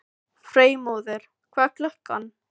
Freymóður, hvað er klukkan?